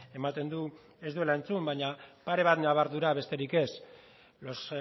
ematen du ez duela entzun baina pare bat nabardura besterik ez los